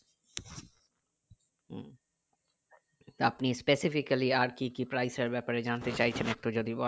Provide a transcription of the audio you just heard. তা আপনি specifically আর কি কি price এর ব্যাপারে জানতে চাইছেন একটু যদি বলেন